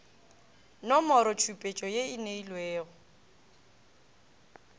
nomorotšhupetšo ye o e neilwego